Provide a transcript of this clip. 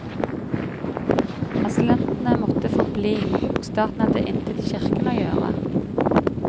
Asylantene måtte få bli, og staten hadde intet i kirkene å gjøre.